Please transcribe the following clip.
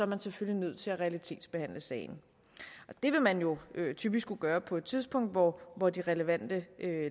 man selvfølgelig nødt til at realitetsbehandle sagen det vil man jo typisk skulle gøre på et tidspunkt hvor hvor de relevante